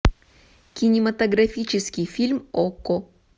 кинематографический фильм окко